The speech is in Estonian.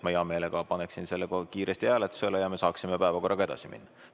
Ma hea meelega paneksin selle kiiresti hääletusele ja me saaksime päevakorraga edasi minna.